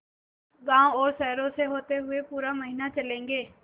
गाँवों और शहरों से होते हुए पूरा महीना चलेंगे